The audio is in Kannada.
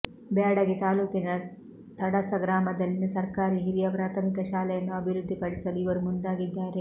ಬ್ಯಾಡಗಿ ತಾಲೂಕಿನ ತಡಸ ಗ್ರಾಮದಲ್ಲಿನ ಸರ್ಕಾರಿ ಹಿರಿಯ ಪ್ರಾಥಮಿಕ ಶಾಲೆಯನ್ನು ಅಭಿವೃದ್ಧಿ ಪಡಿಸಲು ಇವರು ಮುಂದಾಗಿದ್ದಾರೆ